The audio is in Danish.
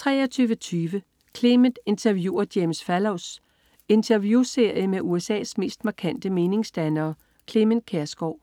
23.20 Clement interviewer James Fallows. Interviewserie med USA's mest markante meningsdannere. Clement Kjersgaard